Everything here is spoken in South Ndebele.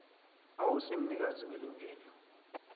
awusi mnikazi welungelo